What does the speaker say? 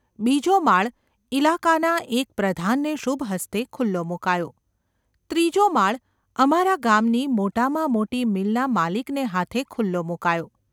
બીજો માળ ઇલાકાના એક પ્રધાનને શુભ હસ્તે ખુલ્લો મુકાયો, ત્રીજો માળ અમારા ગામની મોટામાં મોટી મિલના માલિકને હાથે ખુલ્લો મુકાયો.